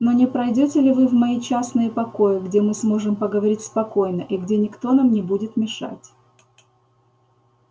но не пройдёте ли вы в мои частные покои где мы сможем поговорить спокойно и где никто нам не будет мешать